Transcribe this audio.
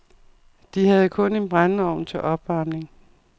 De havde kun en brændeovn til opvarmning.